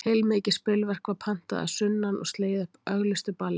Heilmikið spilverk var pantað að sunnan og slegið upp auglýstu balli.